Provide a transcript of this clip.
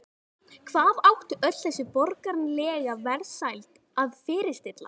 Hvað átti öll þessi borgaralega velsæld að fyrirstilla?